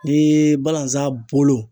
Ni balanzan bolo